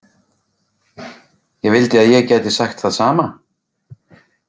Ég vildi að ég gæti sagt það sama.